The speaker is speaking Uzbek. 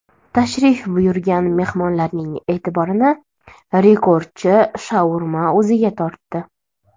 Tashrif buyurgan mehmonlarning e’tiborini rekordchi shaurma o‘ziga tortdi.